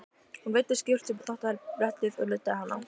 Hún veiddi skyrtu upp á þvottabrettið og nuddaði hana.